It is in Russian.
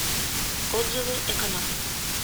отзывы эконом